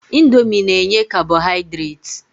Indomi na-enye kabọhaidreti.